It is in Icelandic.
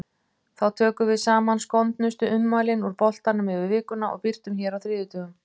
Þá tökum við saman skondnustu ummælin úr boltanum yfir vikuna og birtum hér á þriðjudögum.